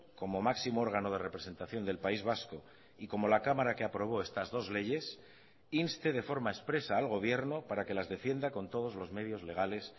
como máximo órgano de representación del país vasco y como la cámara que aprobó estas dos leyes inste de forma expresa al gobierno para que las defienda con todos los medios legales